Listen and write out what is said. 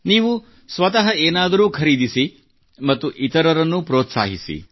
ನೀವು ಸ್ವತಃ ಏನಾದರೂ ಖರೀದಿಸಿ ಮತ್ತು ಇತರರನ್ನೂ ಪ್ರೋತ್ಸಾಹಿಸಿ